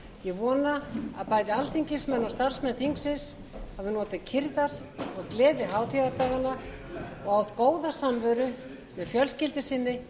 ég vona að bæði alþingismenn og starfsmenn þingsins hafi notið kyrrðar og gleði hátíðardaganna og haft góða samveru með fjölskyldu sinni